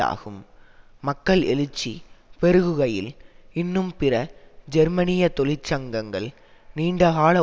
ஆகும் மக்கள் எழுச்சி பெருகுகையில் இன்னும் பிற ஜெர்மனிய தொழிற்சங்கங்கள் நீண்டகால